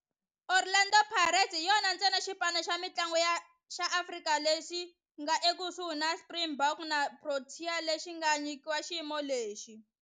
Orlando Pirates hi yona ntsena xipano xa mintlangu xa Afrika-Dzonga lexi nga ekusuhi na Springboks na Proteas lexi nga nyikiwa xiyimo lexi.